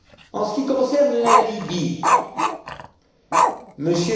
En ce qui concerne la Libye,